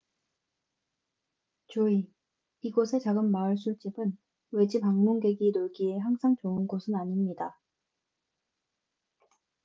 주의 이곳의 작은 마을 술집은 외지 방문객이 놀기에 항상 좋은 곳은 아닙니다